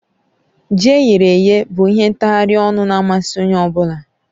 Ji eyere èyé bụ ihe ntaghari ọnụ na amasị Onye ọ bụla